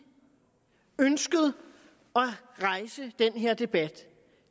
ønsket at rejse den her debat